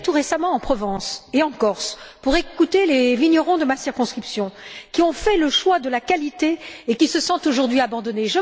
J'étais tout récemment en Provence et en Corse pour écouter les vignerons de ma circonscription, qui ont fait le choix de la qualité et qui se sentent aujourd'hui abandonnés.